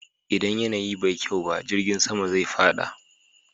Idan yanayi bai kyau ba, jirgin sama zai fada.